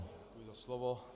Děkuji za slovo.